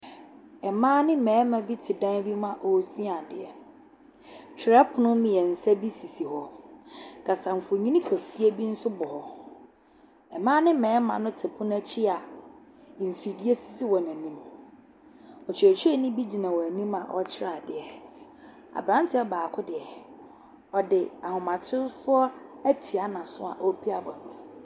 Mmaa ne mmarima bi te dan bi mu a wɔresua adeɛ, twerɛpono mmiɛnsa bi sisi hɔ, kasamfonin kɛseɛ bi nso bɔ hɔ, mmaa ne mmarima te pono akyi mfidie si wɔn anim, ɔkyerɛkyerɛni bi gyina wɔn anim a ɔrekyerɛ adeɛ. Aberanteɛ baako deɛ, ɔde ahomatorofoɔ atua n’aso a ɔrepue.